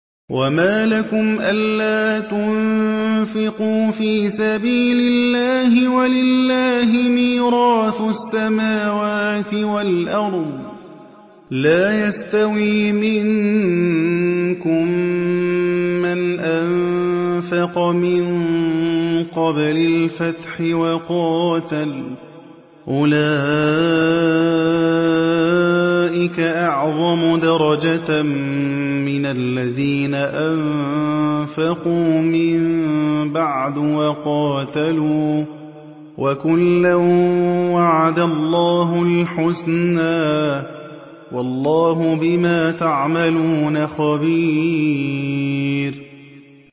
وَمَا لَكُمْ أَلَّا تُنفِقُوا فِي سَبِيلِ اللَّهِ وَلِلَّهِ مِيرَاثُ السَّمَاوَاتِ وَالْأَرْضِ ۚ لَا يَسْتَوِي مِنكُم مَّنْ أَنفَقَ مِن قَبْلِ الْفَتْحِ وَقَاتَلَ ۚ أُولَٰئِكَ أَعْظَمُ دَرَجَةً مِّنَ الَّذِينَ أَنفَقُوا مِن بَعْدُ وَقَاتَلُوا ۚ وَكُلًّا وَعَدَ اللَّهُ الْحُسْنَىٰ ۚ وَاللَّهُ بِمَا تَعْمَلُونَ خَبِيرٌ